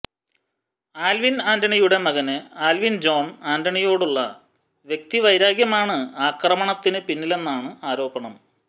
Alvin ആന്റണിയുടെ മകന് Alvin John ആന്റണിയോടുള്ള വ്യക്തിവൈരാഗ്യമാണ് ആക്രമണത്തിന് പിന്നിലെന്നാണ് ആരോപണം